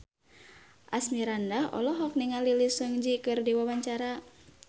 Asmirandah olohok ningali Lee Seung Gi keur diwawancara